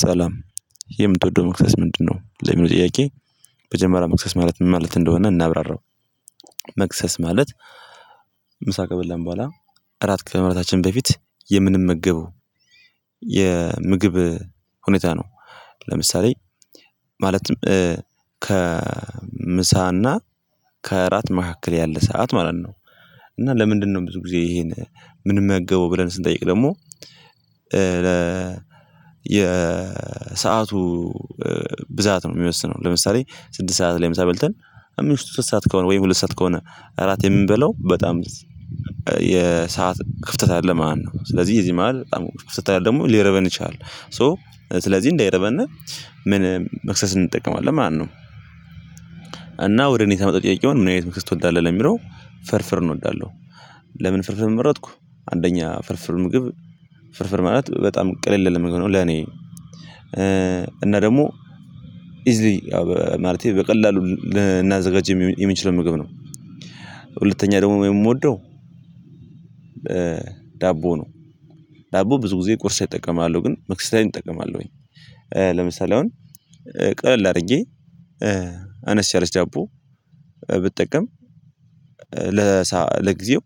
ሰላም የምትወደው መክሰስ ምንድነው? ለሚለው ጥያቄ መጀመሪያ መክሰስ ማለት ምን ማለት እንደሆነ እናብራራው። መክሰስ ማለት ምሳ ከበላን ቡሃላ አራት ከመብላታችን በፊት የምንመገበው የምግብ ሁኔታ ነው። ለምሳሌ ማለትም ከምሳና ከእራት መካከል ያለ ሰዓት ማለት ነው። እና ለምንድነው ብዙ ጊዜ ይሄን ምንገበው ብለን ስንጠይቅ ደግሞ የሰአቱ ብዛት ነው ሚወስነው። ለምሳሌ ስድት ሰዓት ላይ ምሳ በልተን ከምሽቱ ሶስት ሰዓት ከሆነ ወይም ሁለት ሰዓት ከሆነ እራት የምንበላው በጣም የሰዓት ክፍተት አለ ማለት ነው። ስለዚህ በዚህ መሃል በጣም ክፍተት ካለ ሊርበን ይችላል። ሶ ስለዚህ እንዳይርበነ ምን መክሰስ እንጠቀማለን ማለት ነው። እና ወደ እኔ ሳመጣው ጥያቄውን ምን አይነት መክሰስ ትወዳለህ ለሚለው ፍርፍርን እንወዳለሁ። ለምን ፍርፍርን መረጥኩ አንደኛ ፍርፍር ምግብ ፍርፍር ማለት በጣም ቅልል ያለ ምግብ ነው። ለኔ እና ደግሞ ኢዝሊ ማለቴ በቀላሉ ልናዘጋጅ የምንችለው ምግብ ነው። ሁለተኛ ደግሞ የምወደው ዳቦ ነው። ዳቦ ብዙ ጊዜ ቁርስ እጠቀማለሁ ግን መክሰስ ላይም እጠቀማለሁ። ለምሳሌ አሁን ቀለል አድርጌ አነስ ያለች ዳቦ ብጠቀም ለጊዜው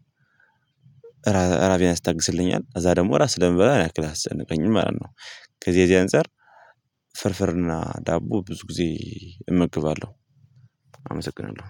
ራቤን ያስታግስልኛል ከዛ ደግሞ እራት ስለምበላ ያን ያክል አያስጨነቀኝም ማለት ነው። ከዚህ ከዚህ አንፃር ፍርፍርና ዳቦ ብዙ ጊዜ እመገባለሁ። አመሰግናለሁ።